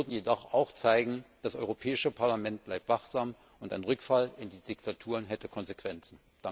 Wir würden jedoch auch zeigen, das Europäische Parlament bleibt wachsam, und ein Rückfall in die Diktaturen hätte Konsequenzen.